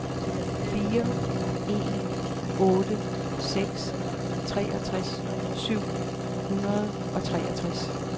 fire en otte seks treogtres syv hundrede og treogtres